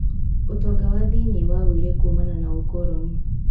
ũtonga wa thĩiniĩ wagũire kumana na ũkoroni.